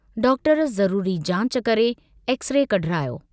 Doctor ज़रूरी जांच करे एक्स-रे कढरायो।